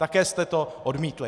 Také jste to odmítli.